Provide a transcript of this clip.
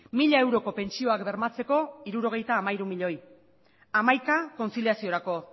mila euroko pentsioak bermatzeko hirurogeita hamairu miloi hamaika kontziliaziorako